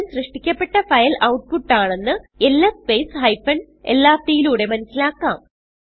അവസാനം സൃഷ്ടിക്കപ്പെട്ട file output ആണെന്ന് എൽഎസ് സ്പേസ് ഹൈഫൻ എൽആർടി യിലൂടെ മനസിലാക്കാം